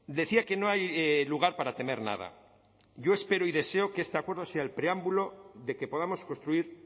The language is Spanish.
decía que no hay lugar para temer nada yo espero y deseo que este acuerdo sea el preámbulo de que podamos construir